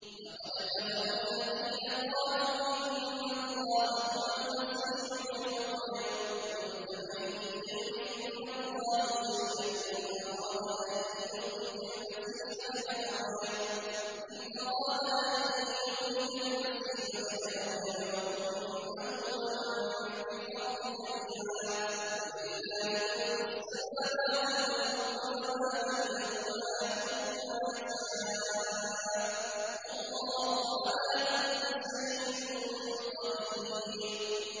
لَّقَدْ كَفَرَ الَّذِينَ قَالُوا إِنَّ اللَّهَ هُوَ الْمَسِيحُ ابْنُ مَرْيَمَ ۚ قُلْ فَمَن يَمْلِكُ مِنَ اللَّهِ شَيْئًا إِنْ أَرَادَ أَن يُهْلِكَ الْمَسِيحَ ابْنَ مَرْيَمَ وَأُمَّهُ وَمَن فِي الْأَرْضِ جَمِيعًا ۗ وَلِلَّهِ مُلْكُ السَّمَاوَاتِ وَالْأَرْضِ وَمَا بَيْنَهُمَا ۚ يَخْلُقُ مَا يَشَاءُ ۚ وَاللَّهُ عَلَىٰ كُلِّ شَيْءٍ قَدِيرٌ